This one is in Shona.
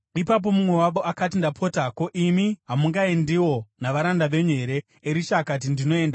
Ipapo mumwe wavo akati, “Ndapota, ko, imi hamungaendiwo navaranda venyu here?” Erisha akati, “Ndinoenda.”